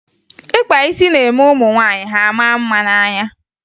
Ịkpa isi na-eme ụmụ nwaanyị a maa mma n'anya